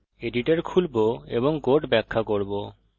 সুতরাং আমি এডিটর খুলবো এবং কোড ব্যাখ্যা করব